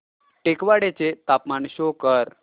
टेकवाडे चे तापमान शो कर